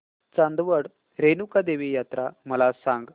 चांदवड रेणुका देवी यात्रा मला सांग